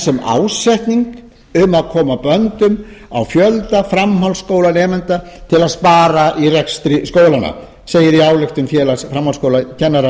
sem ásetning um að koma böndum á fjölda framhaldsskólanemenda til að spara í rekstri skólanna segir á ályktun